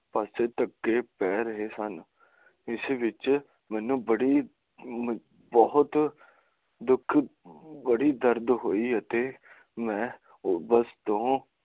ਬੱਸ ਧੱਕੇ ਪੈ ਰਹੇ ਸਨ ਇਸ ਵਿੱਚ ਮੈਨੂੰ ਬੜੀ ਬਹੁਤ ਦੁੱਖ ਬੜੀ ਦਰਦ ਹੋਇ ਤੇ ਮੈਂ